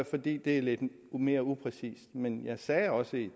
fordi det er lidt mere upræcist men jeg sagde også